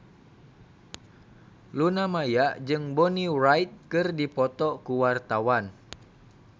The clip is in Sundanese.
Luna Maya jeung Bonnie Wright keur dipoto ku wartawan